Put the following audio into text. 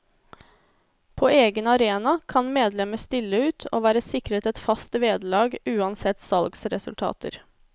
På egen arena kan medlemmer stille ut og være sikret et fast vederlag, uansett salgsresultater.